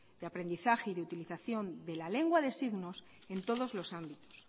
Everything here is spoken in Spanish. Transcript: de aprendizaje y utilización de la lengua de signos en todos los ámbitos